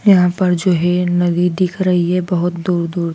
यहां पर जो है नदी दिख रही है बहोत दूर दूर--